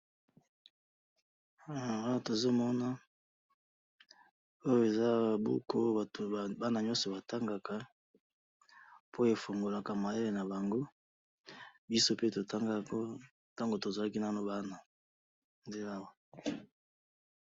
Eh! Awa tozomona, oyo eza buku ooo batu bana nyoso batangaka po efungolaka mayele nabango, bisope totangaka oo tangu tozalaki nanu bana, nde awa.